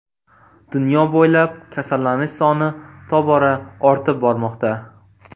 Dunyo bo‘ylab kasallanish soni tobora ortib bormoqda.